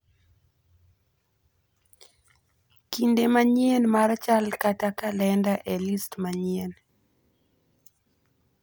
kinde manyien mar chal kata kalenda e list manyien